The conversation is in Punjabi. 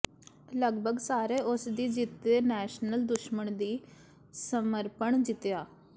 ਲਗਭਗ ਸਾਰੇ ਉਸ ਦੀ ਜਿੱਤ ਦੇ ਨੈਲਸਨ ਦੁਸ਼ਮਣ ਦੀ ਸਮਰਪਣ ਜਿੱਤਿਆ